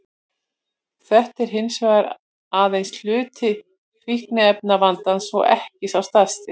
Þetta er hins vegar aðeins hluti fíkniefnavandans og ekki sá stærsti.